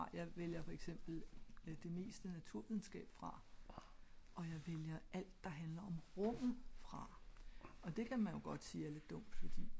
jeg vælger fra for eksempel det meste af naturvidenskab fra og jeg vælger alt der handler om rum fra og det kan man vel godt sige er lidt dumt